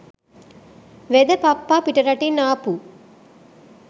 වෙද පප්පා පිටරටින් ආපු